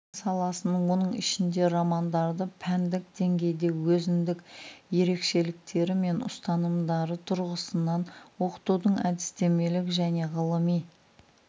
сан-саласын оның ішінде романдарды пәндік деңгейде өзіндік ерекшеліктері мен ұстанымдары тұрғысынан оқытудың әдістемелік және ғылыми